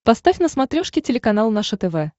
поставь на смотрешке телеканал наше тв